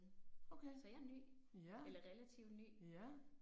Okay. Ja. Ja